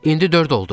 İndi dörd olduq.